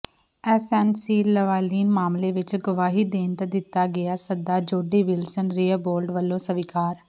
SNC Lavalin ਮਾਮਲੇ ਵਿੱਚ ਗਵਾਹੀ ਦੇਣ ਦਾ ਦਿੱਤਾ ਗਿਆ ਸੱਦਾ ਜੋਡੀ ਵਿਲਸਨ ਰੇਅਬੋਲਡ ਵੱਲੋਂ ਸਵੀਕਾਰ